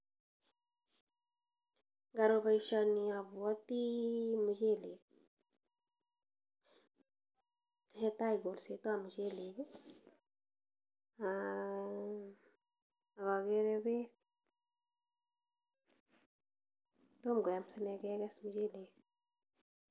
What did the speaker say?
Ngaro boisioni abwoti muchelek. Tesetai kolsetab muchelek, ak agere beek. Tom koyam sine keges muchelek.